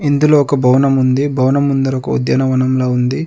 ఇందులో ఒక భవనం ఉంది. భవనం ముందర ఒక ఉద్యానవనంలా ఉంది.